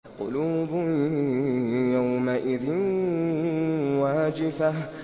قُلُوبٌ يَوْمَئِذٍ وَاجِفَةٌ